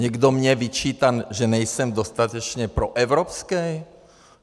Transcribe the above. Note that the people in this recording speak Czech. Někdo mně vyčítá, že nejsem dostatečně proevropský?